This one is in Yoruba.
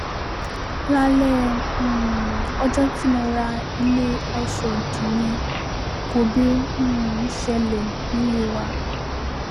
lálẹ́ um ọjọ́ tí mo ra ilé ọ̀ṣọ́dì yẹn gòbè um ṣẹlẹ̀ nílé wa